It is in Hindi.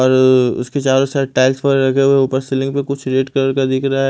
और उसके चारों साइड टाइल्स वैगैरह लगे हुए है। ऊपर सीलिंग पे कुछ रेड कलर का दिख रहा है।